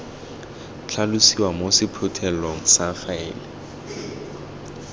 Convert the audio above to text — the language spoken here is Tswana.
tlhalosiwa mo sephuthelong sa faele